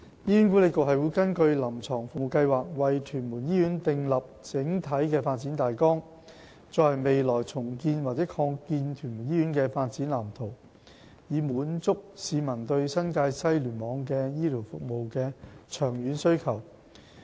醫管局會根據"臨床服務計劃"，為屯門醫院訂立整體發展大綱，作為未來重建及擴建屯門醫院的發展藍圖，以滿足市民對新界西聯網的醫療服務的長遠需求。